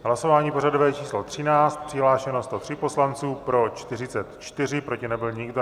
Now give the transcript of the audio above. Hlasování pořadové číslo 13, přihlášeno 103 poslanců, pro 44, proti nebyl nikdo.